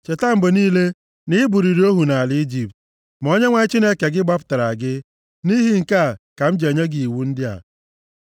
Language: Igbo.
Cheta mgbe niile na i bụrụrị ohu nʼala Ijipt, ma Onyenwe anyị Chineke gị gbapụtara gị, nʼihi nke a ka m ji enye gị iwu ndị a.